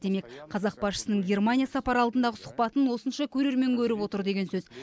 демек қазақ басшысының германия сапары алдындағы сұхбатын осынша көрермен көріп отыр деген сөз